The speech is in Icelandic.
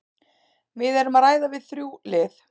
Við erum að ræða við þrjú lið.